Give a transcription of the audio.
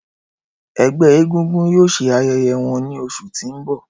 Ẹgbẹ egungun yoo ṣe ayẹyẹ wọn ni oṣu ti n bọ.